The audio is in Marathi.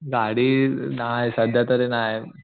गाडी नाही सध्या तरी नाही.